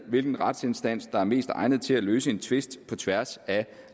hvilken retsinstans der er mest egnet til at løse en tvist på tværs af